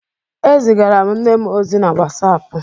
É zigara m nne m ozi na wasapụ.